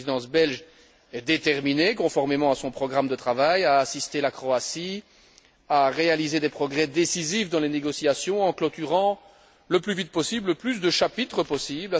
La Présidence belge est déterminée, conformément à son programme de travail, à aider la Croatie à réaliser des progrès décisifs dans les négociations en clôturant le plus vite possible le plus de chapitres possible.